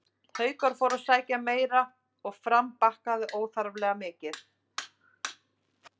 Haukar fóru að sækja meira og Fram bakkaði óþarflega mikið.